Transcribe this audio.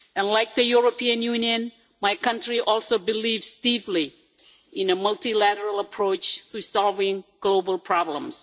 Like the European Union, my country also believes deeply in a multilateral approach to solving global problems.